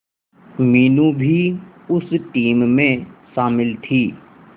मीनू भी उस टीम में शामिल थी